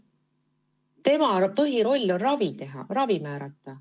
Tema põhiroll on ravi määrata.